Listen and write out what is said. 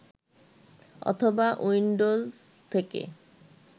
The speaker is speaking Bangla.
অথবা উইন্ডোজ থেকে